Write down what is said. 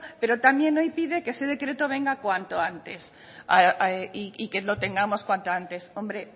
pero también hoy pide que ese decreto venga cuanto antes y que lo tengamos cuanto antes hombre